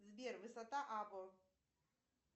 сбер высота або